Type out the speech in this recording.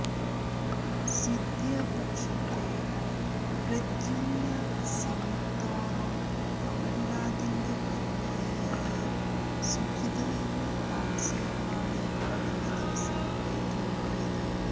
സിന്ധ്യാ പക്ഷത്തെ പ്രദ്യുമ്ന സിംഗ് തോറും കമൽനാഥിന്റെ അനുയായിയായ സുഖിദേവ് പാൻസെയുമാണ് കഴിഞ്ഞ ദിവസം ഏറ്റുമുട്ടിയത്